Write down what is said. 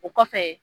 O kɔfɛ